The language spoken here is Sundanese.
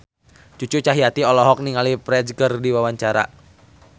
Cucu Cahyati olohok ningali Ferdge keur diwawancara